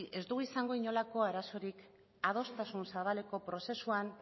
ez dugu izango inolako arazorik adostasun zabaleko prozesuan